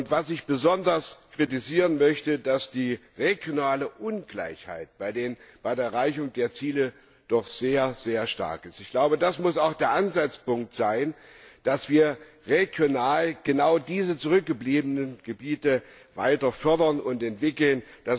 Was ich besonders kritisieren möchte, ist, dass die regionale Ungleichheit bei der Erreichung der Ziele doch sehr stark ist. Das muss auch der Ansatzpunkt sein, dass wir regional genau diese zurückgebliebenen Gebiete weiter fördern und entwickeln.